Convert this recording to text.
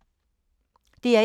DR1